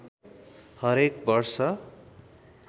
हरेक वर्ष